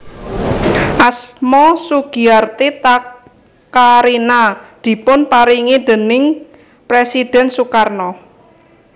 Asma Sugiarti Takarina dipun paringi déning Presidhèn Sukarno